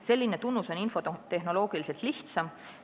Selline tunnus on infotehnoloogiliselt lihtsam.